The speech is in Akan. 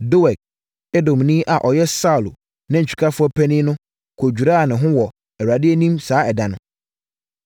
Doeg, Edomni a ɔyɛ Saulo nantwikafoɔ panin no kɔdwiraa ne ho wɔ Awurade anim saa ɛda no.